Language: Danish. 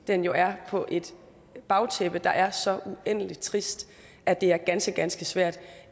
den jo er på et bagtæppe der er så uendelig trist at det er ganske ganske svært